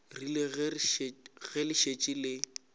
rile ge le šetše le